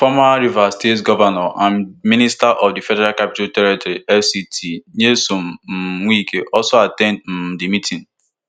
former rivers state govnor and minister of di federal capital territory fct nyesom um wike also at ten d um di meeting